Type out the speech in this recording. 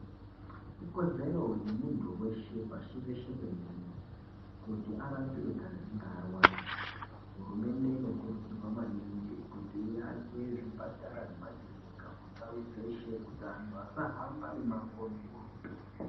Ikodzero yemunhu weshe pashi reshe denderere, kuti arapiwe kana einge arwara, hurumende inokurudzirwa maningi kuti iake zvipatara nemakiriniki kundau dzeshe kuti antu asahamba mumango mukurutu.